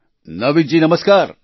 નાવીદ જી નમસ્કાર